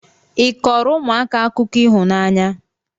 ị kọọrọ ụmụaka akụkọ ịhụnanya?